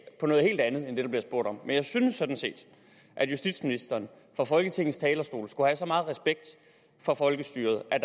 på noget helt andet end det der bliver spurgt om men jeg synes sådan set at justitsministeren fra folketingets talerstol skulle have så meget respekt for folkestyret at